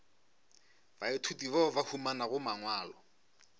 baithuti bao ba humanago mangwalo